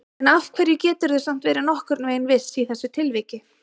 En af hverju geturðu samt verið nokkurn veginn viss í þessu tilviki?